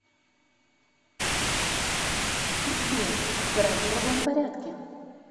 сбер играть в другом порядке